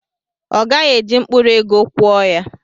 Ọ gaghị eji mkpụrụ ego kwụọ ya.